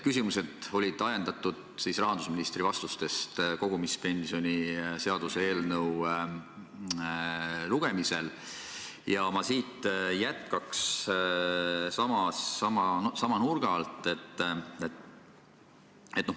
Küsimused on olnud ajendatud rahandusministri vastustest kogumispensioni seaduse eelnõu lugemisel ja ma jätkaks sama nurga alt.